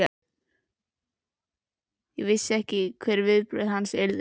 Ég vissi ekki hver viðbrögð hans yrðu.